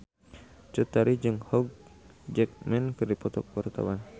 Cut Tari jeung Hugh Jackman keur dipoto ku wartawan